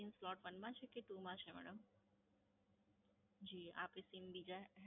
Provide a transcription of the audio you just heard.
Sim Slot One માં છે કે Two માં છે? જી આપણે Sim બીજા